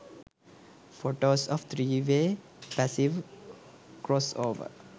photos of 3 way passive crossover